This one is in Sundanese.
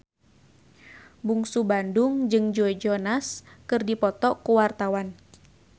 Bungsu Bandung jeung Joe Jonas keur dipoto ku wartawan